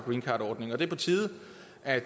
er